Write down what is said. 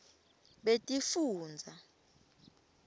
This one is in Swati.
betifundza